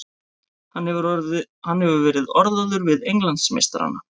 Hann hefur verið orðaður við Englandsmeistarana.